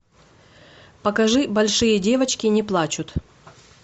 покажи большие девочки не плачут